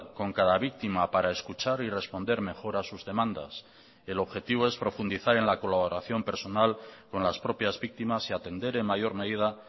con cada víctima para escuchar y responder mejor a sus demandas el objetivo es profundizar en la colaboración personal con las propias víctimas y atender en mayor medida